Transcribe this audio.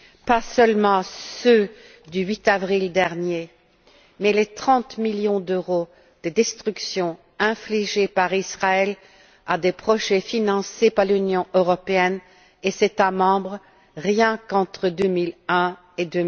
Pas seulement ceux du 8avril dernier, mais les 30millions d'euros de destructions infligées par Israël à des projets financés par l'Union européenne et les États membres, rien qu'entre 2001 et